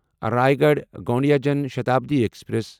Raigarh Gondia Jan Shatabdi express